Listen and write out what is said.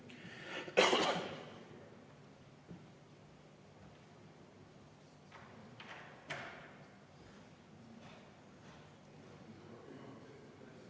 V a h e a e g